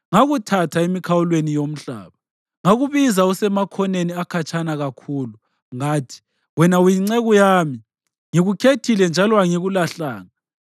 ngakuthatha emikhawulweni yomhlaba, ngakubiza usemakhoneni akhatshana kakhulu. Ngathi, ‘Wena uyinceku yami’; ngikukhethile njalo angikulahlanga.